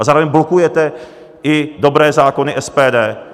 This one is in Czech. A zároveň blokujete i dobré zákony SPD.